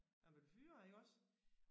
Man blev fyret iggås